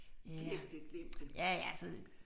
Glem det glem det